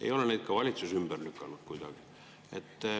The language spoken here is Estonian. Ei ole neid ka valitsus ümber lükanud kuidagi.